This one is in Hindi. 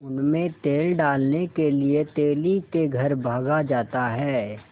उनमें तेल डालने के लिए तेली के घर भागा जाता है